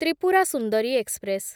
Tripura Sundari express